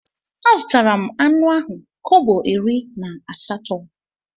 Azutara m anụ ahụ kobo iri atọ na asatọ.